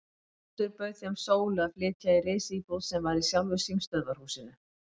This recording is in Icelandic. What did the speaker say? Oddur bauð þeim Sólu að flytja í risíbúð sem var í sjálfu símstöðvarhúsinu.